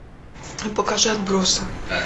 покажи отбросы